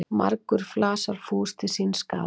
Margur flasar fús til síns skaða.